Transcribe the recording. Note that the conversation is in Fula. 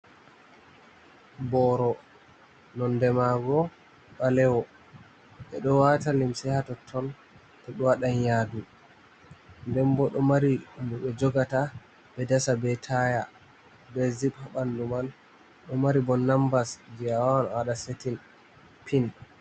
Boro nonde mango ɓalewo ɓeɗo wata limse hatotton to ɗo waɗa yadu, den bo ɗo mari ɗum be jogata be dasa be taya be zip bandu man ɗo mari bo numbars je awawan awaɗa setting pin.